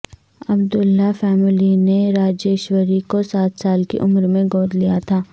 عبداللہ family نے راجیشوری کو سات سال کی عمر میں گود لیا تھا